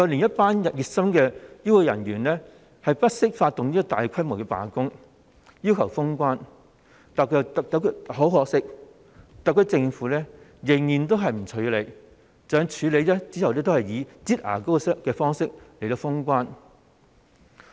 一些熱心的醫護人員不惜發動大規模罷工，要求封關，但很可惜，特區政府仍然都是不處理；即使後來有處理，都只是以"擠牙膏"方式來封關。